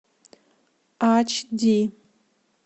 ач ди